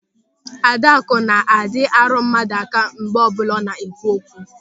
Adakụ na-adị arụ mmadụ aka mgbe ọbụla ọ na-ekwu okwu.